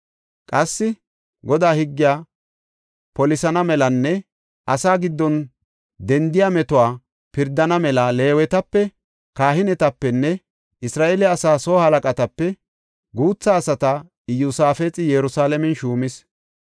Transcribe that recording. Qassi, Godaa higgiya polisana melanne asaa giddon dendiya mootuwa pirdana mela Leewetape, kahinetapenne Isra7eele asaa soo halaqatape guutha asata Iyosaafexi Yerusalaamen shuumis.